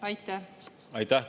Aitäh!